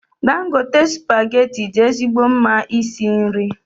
Dangote spaghetti dị ezigbo mma isi nri.